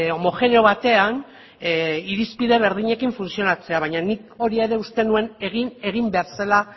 homogeneo batean irizpide berdinekin funtzionatzea baina nik hori ere uste nuen egin behar zela